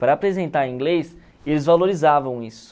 Para apresentar em inglês, eles valorizavam isso.